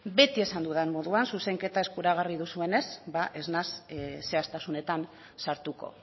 beti esan dudan moduan zuzenketa eskuragarri duzuenez ba ez naiz zehaztasunetan sartuko